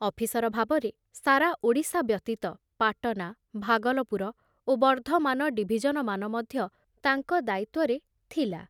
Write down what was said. Officer ଭାବରେ ସାରା ଓଡ଼ିଶା ବ୍ୟତୀତ ପାଟନା, ଭାଗଲପୁର ଓ ବର୍ଧମାନ ଡିଭିଜନମାନ ମଧ୍ୟ ତାଙ୍କ ଦାୟିତ୍ବରେ ଥିଲା।